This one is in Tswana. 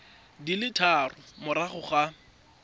di le tharo morago ga